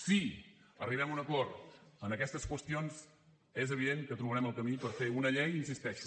si arribem a un acord en aquestes qüestions és evident que trobarem el camí per fer una llei hi insisteixo